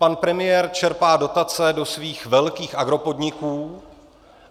Pan premiér čerpá dotace do svých velkých agropodniků.